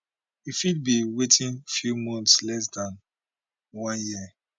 e fit be within few months less dan one year